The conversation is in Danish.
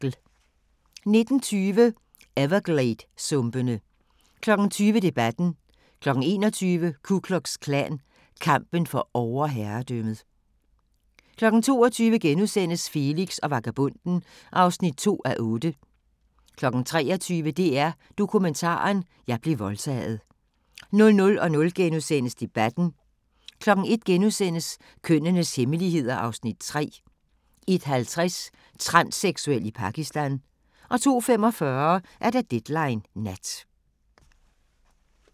19:20: Evergladesumpene 20:00: Debatten 21:00: Ku Klux Klan – kampen for overherredømmet 22:00: Felix og vagabonden (2:8)* 23:00: DR Dokumentaren: Jeg blev voldtaget 00:00: Debatten * 01:00: Kønnenes hemmeligheder (Afs. 3)* 01:50: Transseksuel i Pakistan 02:45: Deadline Nat